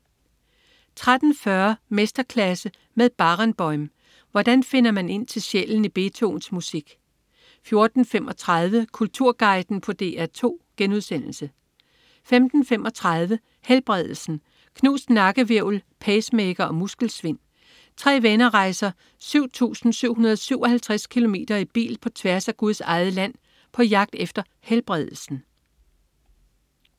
13.40 Mesterklasse med Barenboim. Hvordan finder man ind til sjælen i Beethovens musik? 14.35 Kulturguiden på DR2* 15.35 Helbredelsen. Knust nakkehvirvel, pacemaker og muskelsvind. Tre venner rejser 7757 km i bil på tværs af Guds Eget Land på jagt efter "Helbredelsen"